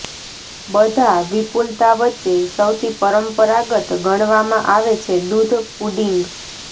બધા વિપુલતા વચ્ચે સૌથી પરંપરાગત ગણવામાં આવે છે દૂધ પુડિંગ